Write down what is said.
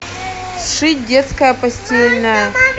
сшить детское постельное